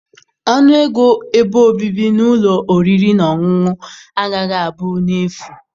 Ọnụ ego ebe obibi na ụlọ oriri na ọṅụṅụ agaghị abụ n'efu.